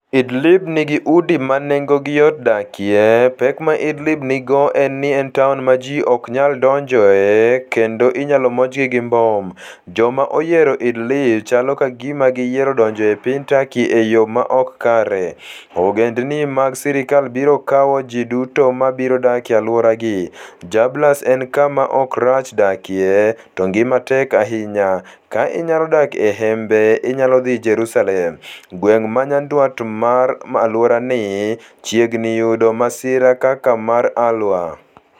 Idlib nigi udi ma nengogi yot dakie. "Pek ma Idlib nigo en ni en taon ma ji ok nyal donjoe kendo inyalo monjgi gi mbom. " "Joma oyiero Idlib chalo ka gima giyiero donjo e piny Turkey e yo ma ok kare. " "Ogendin mag sirkal biro kawo ji duto ma biro dak e alworagi. " "Jarabulus en kama ok rach dakie, to ngima tek ahinya. " "Ka inyalo dak e hembe inyalo dhi Jerusalem. " "Gweng' ma nyandwat mar alworani chiegni yudo masira kaka mar Al-Waer".